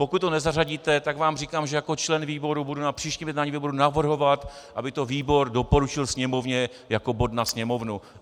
Pokud ho nezařadíte, tak vám říkám, že jako člen výboru budu na příštím jednání výboru navrhovat, aby to výbor doporučil Sněmovně jako bod na sněmovnu.